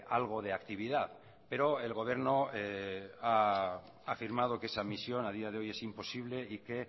algo de actividad pero el gobierno ha afirmado que esa misión a día de hoy es imposible y que